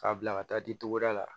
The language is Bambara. K'a bila ka taa di togoda la